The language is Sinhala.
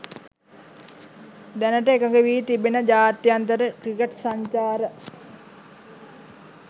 දැනට එකඟ වී තිබෙන ජාත්‍යන්තර ක්‍රිකට් සංචාර